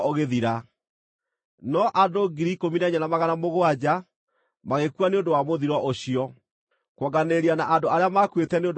No andũ 14,700 magĩkua nĩ ũndũ wa mũthiro ũcio, kuonganĩrĩria na andũ arĩa maakuĩte nĩ ũndũ wa Kora.